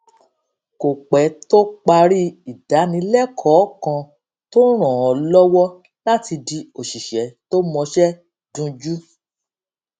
kò pé tó parí ìdánilékòó kan tó ràn án lówó láti di òṣìṣé tó mọṣé dunjú